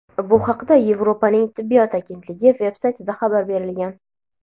Bu haqda Yevropaning tibbiyot agentligi veb-saytida xabar berilgan.